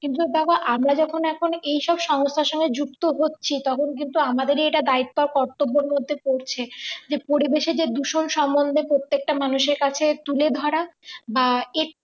কিন্তু দেখো আমরা যখন এখন এইসব সংস্থার সঙ্গে যুক্ত হচ্ছি তখন কিন্তু আমাদের এটা দায়িত্ব কর্তব্যের মধ্যে পড়ছে যে পরিবেশের যে দূষণ সম্বন্ধে প্রত্যেকটা মানুষের কাছে তুলে ধরা বা এ